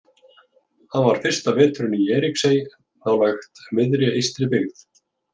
Hann var fyrsta veturinn í Eiríksey, nálægt miðri Eystribyggð.